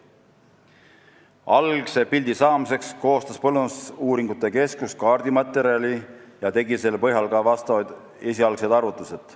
Algse pildi saamiseks koostas Põllumajandusuuringute Keskus kaardimaterjali ja tegi selle põhjal ka vastavad esialgsed arvutused.